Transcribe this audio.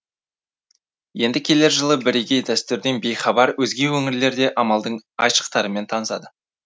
енді келер жылы бірегей дәстүрден бейхабар өзге өңірлер де амалдың айшықтарымен танысады